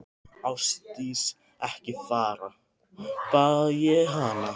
Ásdís, ekki fara, bað ég hana.